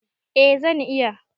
Eh zan iya.